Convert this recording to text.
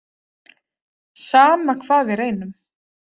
Sama hvað við reynum.